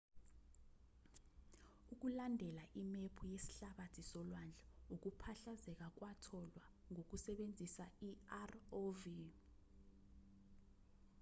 ukulandela imephu yesihlabathi solwandle ukuphahlazeka kwatholwa ngokusebenzisa i-rov